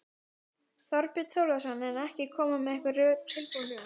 Þorbjörn Þórðarson: En ekki koma með einhver tilbúin rök?